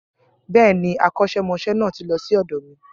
Bẹ́ẹ̀ ni, akọ́ṣẹ́mọṣẹ́ náà ti lọ sí ọ̀dọ̀ mi